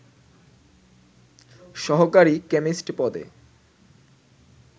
সহকারী কেমিস্ট পদে